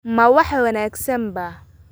Ma wax wanaagsan baa?